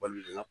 Baga